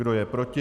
Kdo je proti?